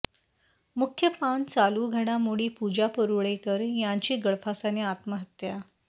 मुख्य पान चालू घडामोडी पूजा परुळेकर यांची गळफासाने आत्महत्या